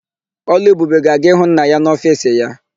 Ọlụebube ga-aga ịhụ nna ya n'ofiisi ya.